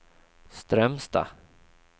Strömstad